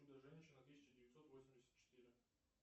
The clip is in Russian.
чудо женщина тысяча девятьсот восемьдесят четыре